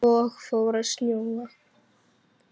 Svo fór að snjóa.